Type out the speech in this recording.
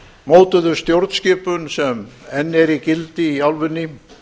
mótuðu stjórnskipun sem enn er í gildi í álfunni